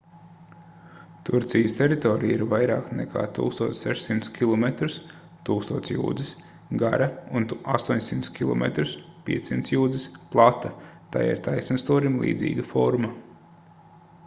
turcijas teritorija ir vairāk nekā 1600 kilometrus 1000 jūdzes gara un 800 km 500 jūdzes plata tai ir taisnstūrim līdzīga forma